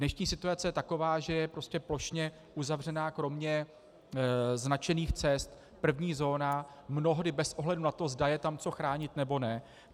Dnešní situace je taková, že je prostě plošně uzavřená kromě značených cest první zóna, mnohdy bez ohledu na to, zda je tam co chránit, nebo ne.